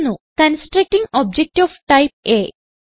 constructing object of type uh